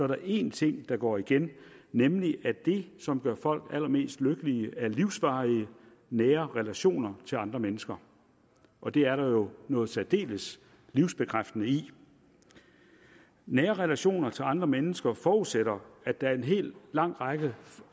der én ting der går igen nemlig at det som gør folk allermest lykkelige er livsvarige nære relationer til andre mennesker og det er der jo noget særdeles livsbekræftende i nære relationer til andre mennesker forudsætter at der er en hel lang række